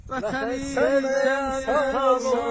Vətənim, sən sağ ol!